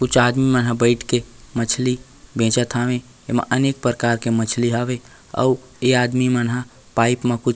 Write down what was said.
कुछ आदमी मन बईठ के मछली बेचत हावे एमे अनेक प्रकार के मछली हावे अउ ए आदमी मन हा पाइप म कुछ--